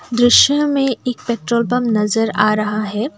दृश्य में एक पेट्रोल पंप नजर आ रहा है।